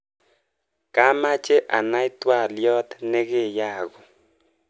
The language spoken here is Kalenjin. Kamache anai twaliot nekeyaku.